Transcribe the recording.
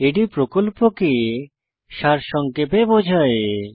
এটি প্রকল্পকে সারসংক্ষেপে বোঝায়